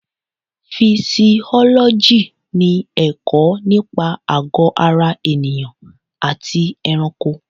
Fisiọ́lọ́jì ni ẹ̀kọ́ nípa àgọ́ ara ènìyàn àti ẹranko.